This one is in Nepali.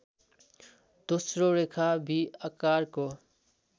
दोस्रो रेखा भि आकारको